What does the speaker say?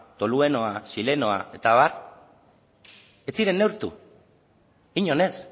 toluenoa xilenoa eta abar ez ziren neurtu inon ez